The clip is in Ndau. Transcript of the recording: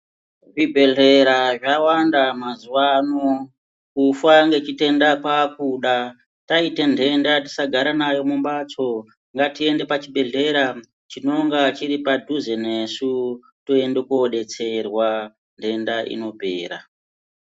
Zvibhedhlera zvawanda mazuvano. Kufa ngechitenda kwaakuda. Taite nhenda tisagara nayo mumbatso, ngatiende pachibhedhlera chinonga chiri padhuze nesu toenda koodetserwa denda inoopera.